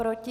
Proti?